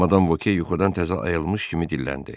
Madam Voke yuxudan təzə ayılmış kimi dilləndi.